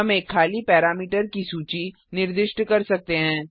हम एक खाली पैरामीटर सूची निर्दिष्ट कर सकते हैं